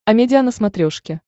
амедиа на смотрешке